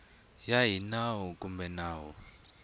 ya hi nawu kumbe nawu